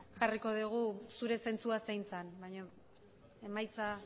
jarriko dugu zure zentzua zein zen baino emaitza